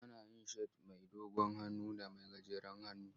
Ana yin shat mai dogon hannu da mai gajeren hannu.